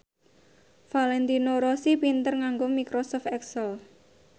Valentino Rossi pinter nganggo microsoft excel